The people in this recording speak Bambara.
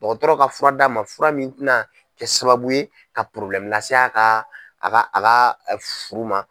Dɔgɔtɔrɔ ka fura d'a ma fura min tɛna kɛ sababu ye ka lase a ka a ka a ka furu ma.